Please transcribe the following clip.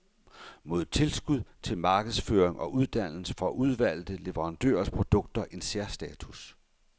Mod tilskud til markedsføring og uddannelse får udvalgte leverandørers produkter en særstatus.